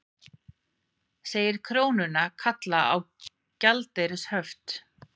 Segir krónuna kalla á gjaldeyrishöft